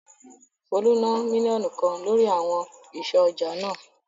Folú ná mílíọ̀nù kan lórí àwọn àwọn ìsọ̀ ọjà náà.